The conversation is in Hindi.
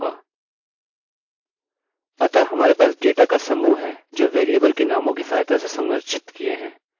अतः हमारे पास डेटा का समूह है जो वेरिएबलvariableके नामों की सहायता से संरचित किए हैं